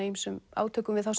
ýmsum átökum við þá